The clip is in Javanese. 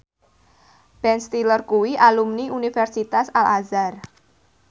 Ben Stiller kuwi alumni Universitas Al Azhar